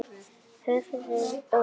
Höfuðið óvarið.